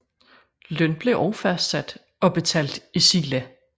Løn blev også fastsat og betalt i sila